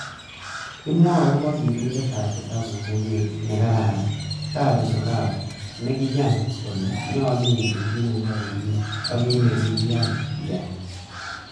Kimwowon agobo sirindetab kitabisiek ne kararan, Gary Zukav, neiyoni kole nyolu ingen kit neiyoe komie, ak kit nekikiyain iyai.